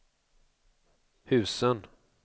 husen